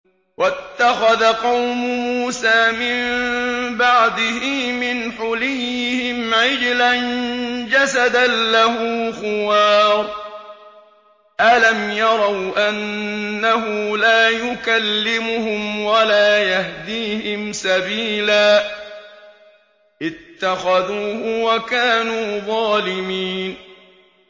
وَاتَّخَذَ قَوْمُ مُوسَىٰ مِن بَعْدِهِ مِنْ حُلِيِّهِمْ عِجْلًا جَسَدًا لَّهُ خُوَارٌ ۚ أَلَمْ يَرَوْا أَنَّهُ لَا يُكَلِّمُهُمْ وَلَا يَهْدِيهِمْ سَبِيلًا ۘ اتَّخَذُوهُ وَكَانُوا ظَالِمِينَ